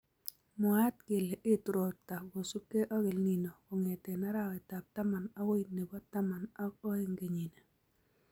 Mwaat kele etu robta kosubke ak EL Nino kong'ete arawetab taman agoi nebo taman ak oeng kenyini